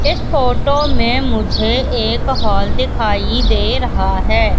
इस फोटो में मुझे एक हॉल दिखाई दे रहा है।